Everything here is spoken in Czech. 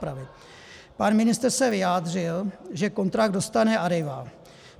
Pan ministr se vyjádřil, že kontrakt dostane Arriva.